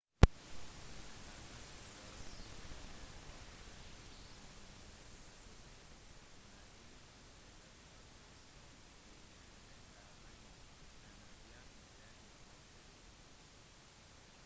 med armensk støtte ble det opprettet en ny republikk men ingen etablert nasjon ikke engang armenia anerkjenner denne offisielt